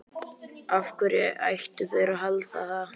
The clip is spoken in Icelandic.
Af hverju ættu þeir að halda það?